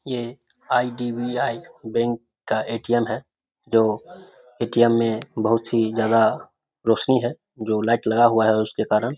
ये IDBI. Bank का ATM. है जो ए.टी.एम. जो ए.टी.एम बहोत सी जगह रोशनी है जो लाइट लगा हुआ है उसके कारण |